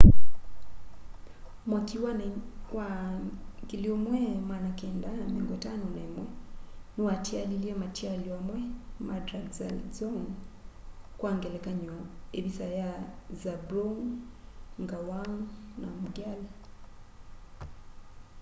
mwaki wa 1951 niwatialilye matialyo amwe ma drukgyal dzong kwa ngelekany'o ivisa ya zhabrung ngawang namgyal